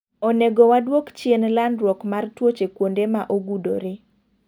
Onego waduok chien landruok mar tuoche kuonde ma ogudore.